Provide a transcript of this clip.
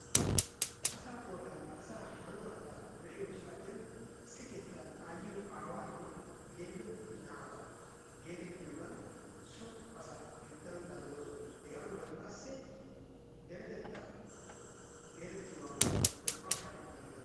Asaa qoodanne asaa hanotaatta be'iyo saatiyan isssi keettan ayyiyo, aawaanne yelido naata geetettiyoogan so asaa geetettana danddayoosona. Hegaa bollan qassi deretetta geetettiyoogan naa"awu shaakkidi be'ana dan...